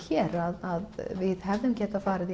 hér að við hefðum geta farið